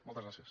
moltes gràcies